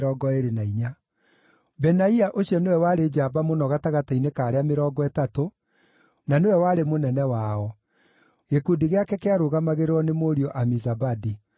Benaia ũcio nĩwe warĩ njamba mũno gatagatĩ-inĩ ka arĩa Mĩrongo Ĩtatũ na nĩwe warĩ mũnene wao. Gĩkundi gĩake kĩarũgamagĩrĩrwo nĩ mũriũ Amizabadi.